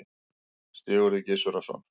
Sigurður Gizurarson.